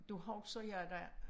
Da husker jeg da